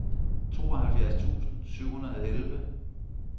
tooghalvfjerds tusind syv hundrede og elleve